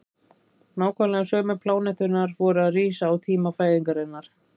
nákvæmlega sömu pláneturnar voru að rísa á tíma fæðingarinnar